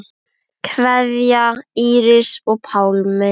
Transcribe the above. Kveðja, Íris og Pálmi.